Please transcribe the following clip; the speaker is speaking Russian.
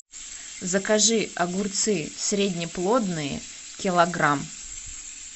закажи огурцы среднеплодные килограмм